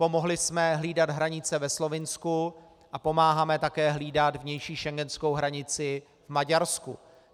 Pomohli jsme hlídat hranice ve Slovinsku a pomáháme také hlídat vnější schengenskou hranici v Maďarsku.